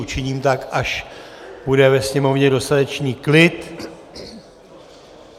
Učiním tak, až bude ve sněmovně dostatečný klid.